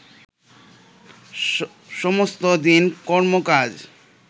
সমস্ত দিন কর্ম-কাজ